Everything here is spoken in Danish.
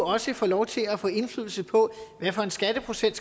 også får lov til at få indflydelse på hvilken skatteprocent